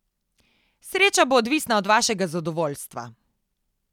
Sreča bo odvisna od vašega zadovoljstva.